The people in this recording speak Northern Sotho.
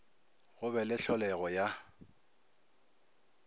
go be le hlolego ya